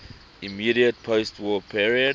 immediate postwar period